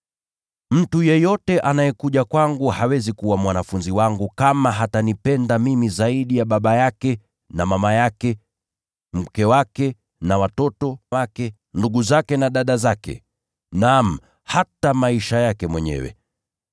“Mtu yeyote anayekuja kwangu hawezi kuwa mwanafunzi wangu kama hatanipenda mimi zaidi ya baba yake na mama yake, mke wake na watoto wake, ndugu zake na dada zake, naam, hata maisha yake mwenyewe.